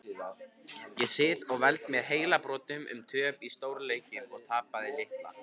Ég sit og veld mér heilabrotum um töp í stórum leikjum og tapaða titla.